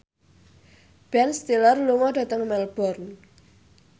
Ben Stiller lunga dhateng Melbourne